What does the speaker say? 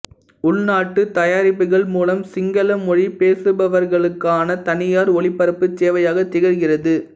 உள்நாட்டுத் தயாரிப்புக்கள் மூலம் சிங்கள மொழி பேசுபவர்களுக்கான தனியார் ஒளிபரப்புச் சேவையாக திகழ்கிறது